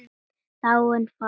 Andri: Af hverju gerirðu það?